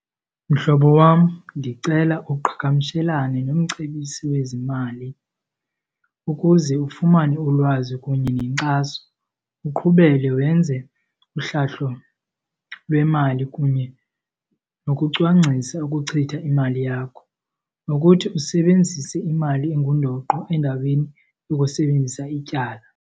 Mhlobo wam, ndicela uqhagamshelane nomcebisi wezimali ukuze ufumane ulwazi kunye nenkxaso. Uqhubele wenze uhlahlo lwemali kunye nokucwangcisa ukuchitha imali yakho, nokuthi usebenzise imali engundoqo endaweni yokusebenzisa ityala.